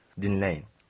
Dinləyin.